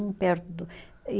Um perto do e